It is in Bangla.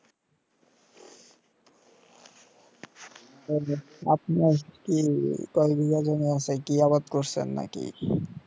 আপনার কি কই বিঘা জমি আছে কিয়ারোত করছেন নাকি